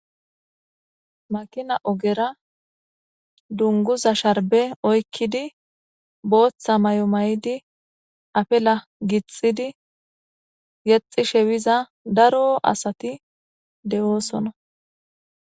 makina ogera dunguza sharbe oykkidi booththa may7o may7idi apela gixxidi yexi shewiza daro asati de7oosona